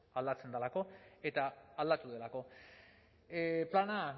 aldatzen delako eta aldatu delako plana